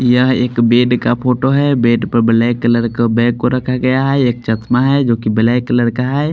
यह एक बेड का फोटो है बेड पर ब्लैक कलर का बैग को रखा गया है एक चश्मा है जोकि ब्लैक कलर का है।